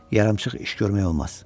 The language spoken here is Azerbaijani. Yarımçıq iş görmək olmaz.